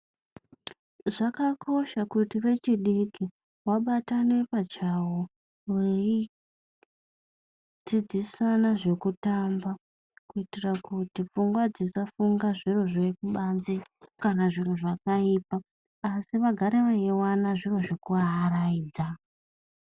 Zvakakosha kuti vechidiki vabatane pachavo veidzidzisana zvekutamba kuitira kuti pfungwa dzisafunga zviro zvekubanze, kana zviro zvakaipa asi vagare veiona zviro zvekuaraidza.